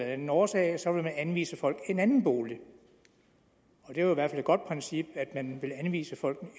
anden årsag så vil man anvise folk en anden bolig og det er jo i hvert fald et godt princip at man vil anvise folk